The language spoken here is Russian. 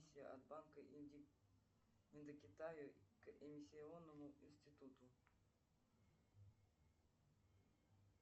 от банка индокитая к эмиссионному институту